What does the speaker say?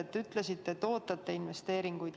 Te ütlesite, et ootate investeeringuid.